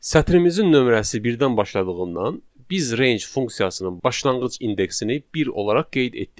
Sətrimizin nömrəsi birdən başladığından biz range funksiyasının başlanğıc indeksini bir olaraq qeyd etdik.